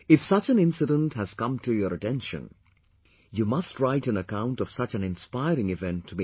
If such anincident has come to your attention, you must write an account of such an inspiring event to me